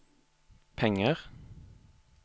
penger